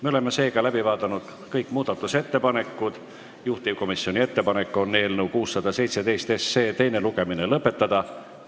Me oleme läbi vaadanud kõik muudatusettepanekud, juhtivkomisjoni ettepanek on eelnõu 617 teine lugemine lõpetada.